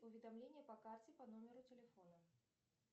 уведомление по карте по номеру телефона